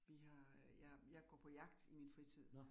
Vi har, jeg jeg går på jagt i min fritid